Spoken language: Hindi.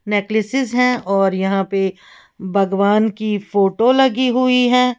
नक्लेसेस है और यहां पे भगवान की फोटो लगी हुई हैं।